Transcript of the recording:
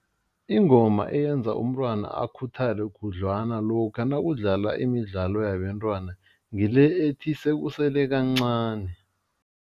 Ingoma eyenza umntwana akhuthale khudlwana lokha nakudlalwa imidlalo yabentwana, ngile ethi sekusele kancani.